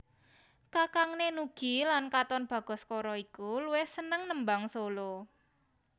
Kakangné Nugie lan Katon Bagaskara iki luwih seneng nembang solo